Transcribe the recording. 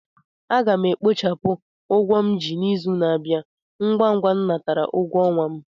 A ga m e kpochapụ ụgwọ m ji n'izù n'abia ngwa ngwa m natara ụgwọ ọnwa m